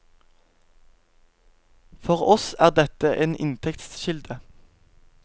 For oss er dette en inntektskilde.